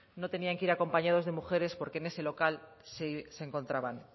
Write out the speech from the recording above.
no tenían que ir acompañados de mujeres porque en ese local se encontraban